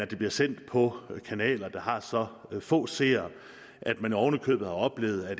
de bliver sendt på kanaler der har så få seere at man oven i købet har oplevet at